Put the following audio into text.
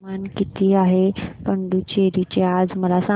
तापमान किती आहे पुडुचेरी चे मला सांगा